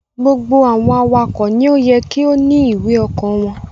gbogbo awakọ̀ ni yé kí o ní ìwé oko wón.